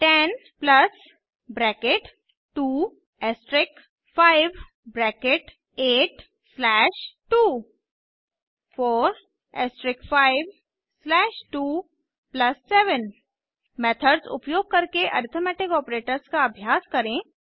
10 bracket 2 asterisk 5 bracket 8 slash 2 4 asterisk 5 slash 2 plus 7 methods उपयोग करके arithmetic operators का अभ्यास करें